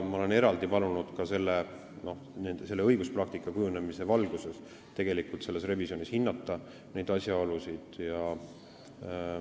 Ma olen eraldi palunud õiguspraktika kujunemise valguses selle revisjoni käigus neid asjaolusid hinnata.